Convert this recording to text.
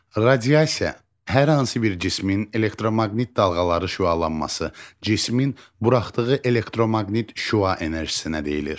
Radiasiya hər hansı bir cismin elektromaqnit dalğaları şüalanması, cismin buraxdığı elektromaqnit şüa enerjisinə deyilir.